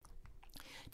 DR1